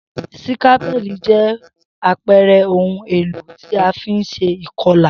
Sikapẹli jẹ àpere oun èlò ti a fi n se ìkolà